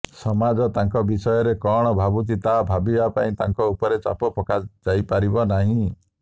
ସମାଜ ତାଙ୍କ ବିଷୟରେ କଣ ଭାବୁଛି ତାହା ଭାବିବା ପାଇଁ ତାଙ୍କ ଉପରେ ଚାପ ପକାଯାଇପାରିବନାହିଁ